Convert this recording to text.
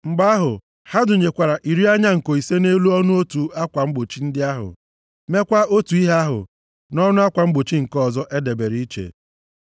Mgbe ahụ, ha dụnyekwara iri anya nko ise nʼelu ọnụ otu akwa mgbochi ndị ahụ. Mekwaa otu ihe ahụ nʼọnụ akwa mgbochi nke ọzọ e debere iche.